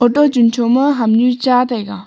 toh tunthow ma hamnu cha taiga.